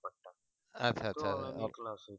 আচ্ছা আচ্ছা